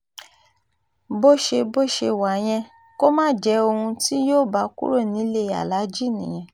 bó ṣe bó ṣe wá yẹn kó má jẹ́ ohun tí yóò bá kúrò nílẹ̀ aláàjì nìyẹn